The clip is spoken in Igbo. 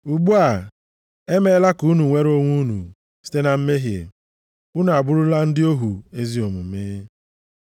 Ugbu a, e meela ka unu nwere onwe unu site na mmehie, unu abụrụla ndị ohu ezi omume.